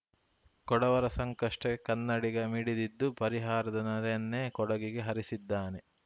ಕೊಡವರ ಸಂಕಷ್ಟಕ್ಕೆ ಕನ್ನಡಿಗ ಮಿಡಿದಿದ್ದು ಪರಿಹಾರದ ನೆರೆಯನ್ನೇ ಕೊಡಗಿಗೆ ಹರಿಸಿದ್ದಾನೆ